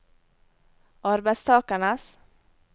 arbeidstakernes